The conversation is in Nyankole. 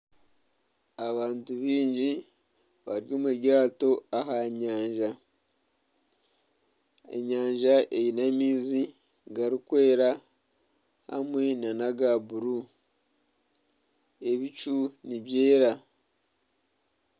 Abantu baingi bari omuryato aha nyanja eine amaizi garikwera hamwe nana agabururu ebicu nibyera